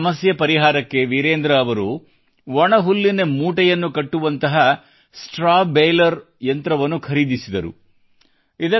ತ್ಯಾಜ್ಯ ಸಮಸ್ಯೆಯ ಪರಿಹಾರಕ್ಕೆ ವಿರೇಂದ್ರ ಅ಻ವರು ಒಣ ಹುಲ್ಲಿನ ಮೂಟೆಯನ್ನು ಕಟ್ಟುವಂಥ ಸ್ಟ್ರಾ ಬೇಲರ್ ಯಂತ್ರವನ್ನು ಖರೀದಿಸಿದರು